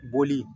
Bɔli